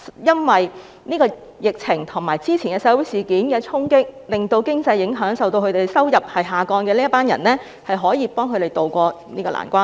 因為疫情，以及早前社會事件的衝擊，經濟受到影響，而這群人的收入也因而下降，司長是否可以協助他們渡過這個難關呢？